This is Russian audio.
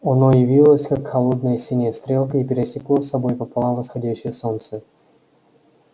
оно явилось как холодная синяя стрелка и пересекло собой пополам восходящее солнце